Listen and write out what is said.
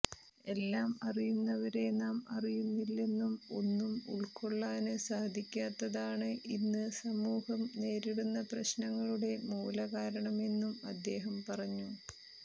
എല്ലാം അറിയുന്നവരെ നാം അറിയുന്നില്ലെന്നും ഒന്നും ഉള്ക്കൊള്ളാന് സാധിക്കാത്തതാണ് ഇന്ന് സമൂഹം നേരിടുന്ന പ്രശ്നങ്ങളുടെ മൂലകാരണമെന്നും അദ്ദേഹം പറഞ്ഞു